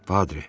Patri.